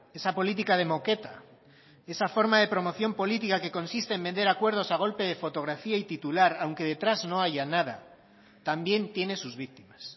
esa política de moqueta y esa forma de promoción política que consiste en vender acuerdos a golpe de fotografía y titular aunque detrás no haya nada también tiene sus víctimas